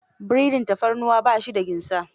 Breading tafarnuwa ba shi da ginsa.